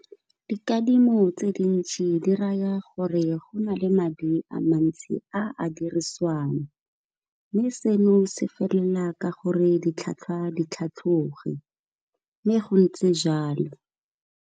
Dikadimo tse dintšhi di raya gore go na le madi a mantsi a a dirisiwang, mme seno se felela ka gore ditlhwatlhwa di tlhatloge mme go ntse jalo.